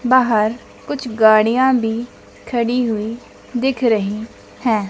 बाहर कुछ गाड़ियां भी खड़ी हुई दिख रही हैं।